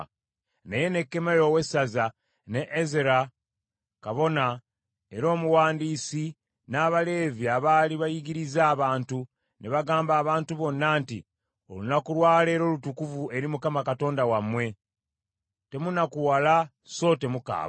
Naye Nekkemiya owessaza, ne Ezera kabona era omuwandiisi, n’Abaleevi abaali bayigiriza abantu, ne bagamba abantu bonna nti, “Olunaku lwa leero lutukuvu eri Mukama Katonda wammwe; temunakuwala so temukaaba.”